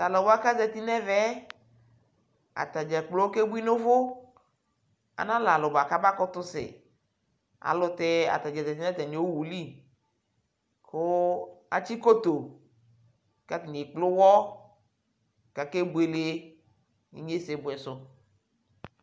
Talʋwa kʋ azati nʋ ɛvɛ yɛ, atadza kplo kebui nʋ uvu Alɛ alʋ bua kʋ abakʋtʋ sɛ ayʋɛlʋtɛ atadza zati nʋ atami owu lι kʋ atsi koto kʋ atani ekkple uwɔ kakebuele inyesebuɛ sʋ